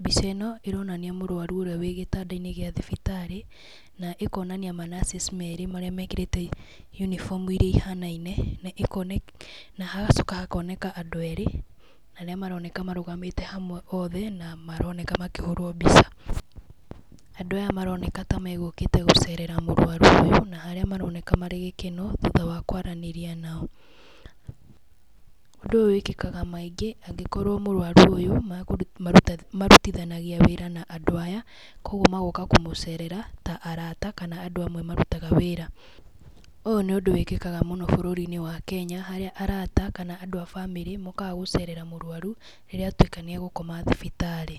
Mbica ĩno ĩronania mũrwaru ũrĩa wĩ Gĩtanda-inĩ gĩa thibirtarĩ na ĩkonania ma [cs nurses n merĩ marĩa mekĩrĩte uniform ihanaine na hagacoka hakoneka andũ erĩ arĩa maroneka marũgamĩte hamwe othe na maroneka makĩhũrwo mbica. Andũ aya maroneka ta megũkite gũcerera mũrwaru ũyũ na harĩa maroneka marĩ gĩkeno thutrha wa kwaranĩria nao. Ũndũ ũyũ wikĩkaga maingĩ angĩkorwo mũrwaru ũyũ marutithanagia wĩra na andũ aya koguo magoka kũmũcerera ta arata kana andũ amwe marutaga wĩra. Ũyũ ni ũndũ wĩkĩkaga mũno bũrũri-inĩ wa Kenya harĩa arata kana andũ a bamĩrĩ mokaga gũcerera mũrwaru rĩrĩa atuĩka nĩ akoma thibitarĩ.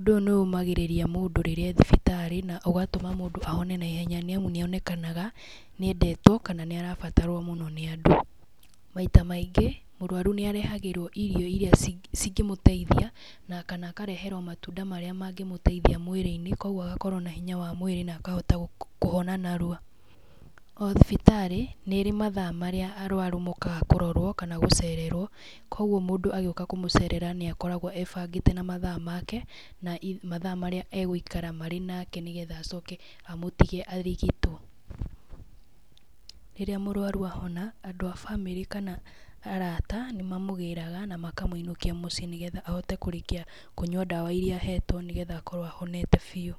Ũndũ ũyũ nĩ ũmagĩrĩria mũndũ rĩrĩ e thibitarĩ na ũgatũma mũndũ ahone na ihenya nĩ amu nĩ onekanaga nĩ endetwo kana nĩ arabatarwo mũno nĩ andũ. Maita maingĩ mũrwaru nĩ arehagĩrwom irio iria cingĩmmũteithia na kana akareherwo matunda marĩa mangĩ mũteithia mwĩrĩ-inĩ koguo agakorwo na hinya wa mwĩrĩ na akahota kũhona narua. O thibitarĩ nĩ ĩrĩ mathaa marĩa arwaru mokaga kũrorwo kana mokaga gũcererwo, koguo mũndũ agĩũka kũmũcerera nĩ akoragwo ebangĩte na mathaa make na mathaa marĩa egũikara marĩ nake nĩ getha acoke amũtige nĩ getha arigitwo. Rĩrĩa mũrwaru ahona andũ a bamĩrĩ kana arata nĩ mamũgĩraga na makamũinũkia mũciĩ nĩ getha ahote kũrĩkia kũnyua ndawa iria ahetwo nĩ getha akorwo ahonete biũ.